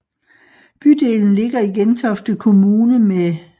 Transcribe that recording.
Bydelen ligger i Gentofte Kommune med